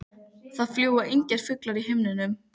Það fljúga engir fuglar í himninum.